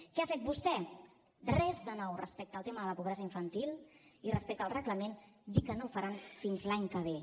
què ha fet vostè res de nou respecte al tema de la pobresa infantil i respecte al reglament dir que no el faran fins l’any que ve